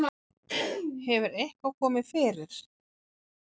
Hefur eitthvað komið fyrir?